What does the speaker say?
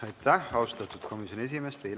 Aitäh, austatud komisjoni esimees!